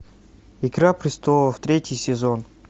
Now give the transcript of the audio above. игра престолов третий сезон